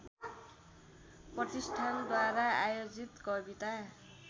प्रतिष्ठानद्वारा आयोजित कविता